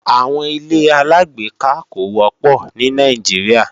Àwọn ilé-aláàgbéká kò wọ́pọ̀ ní Nàìjíríà